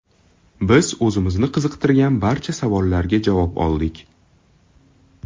Biz o‘zimizni qiziqtirgan barcha savollarga javob oldik.